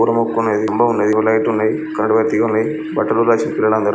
స్తంభం ఉంది. లైట్ లు ఉన్నాయి. కరెంట్ వైర్ తీగ ఉంది. బట్టలు ఉల్లారేసిర్రు పిల్లలందరూ.